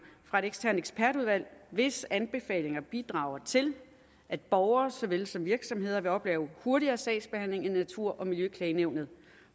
fra et eksternt ekspertudvalg hvis anbefalinger bidrager til at borgere såvel som virksomheder vil opleve hurtigere sagsbehandling i natur og miljøklagenævnet